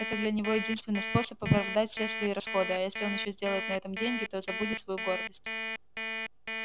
это для него единственный способ оправдать все свои расходы а если он ещё сделает на этом деньги то забудет свою гордость